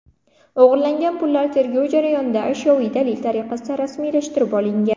O‘g‘irlangan pullar tergov jarayonida ashyoviy dalil tariqasida rasmiylashtirib olingan.